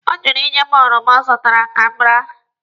Ọ jụrụ ịnye m oroma ọ zụtara ka m raa.